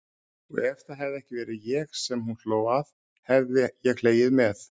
Og ef það hefði ekki verið ég sem hún hló að hefði ég hlegið með.